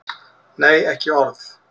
Nei, ekki orð.